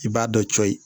I b'a dɔ cɔyi